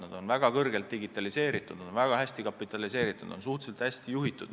Nad on väga kõrgelt digitaliseeritud, nad on väga hästi kapitaliseeritud, nad on suhteliselt hästi juhitud.